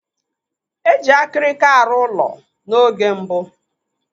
Eji akirika aru ụlọ na oge mbụ.